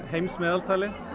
heimsmeðaltalið